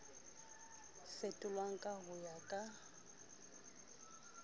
fetolwang ka ho ya ka